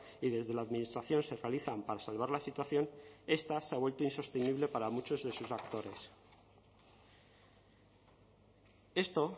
y desde la administración se realizan para salvar la situación esta se ha vuelto insostenible para muchos de sus actores esto